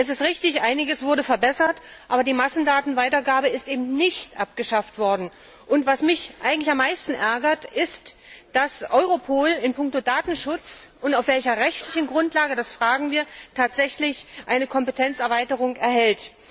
Es ist richtig Einiges wurde verbessert, aber die Massendatenweitergabe ist eben nicht abgeschafft worden. Was mich eigentlich am meisten ärgert, ist, dass Europol in punkto Datenschutz auf welcher rechtlichen Grundlage, das fragen wir tatsächlich eine Kompetenzerweiterung erhält.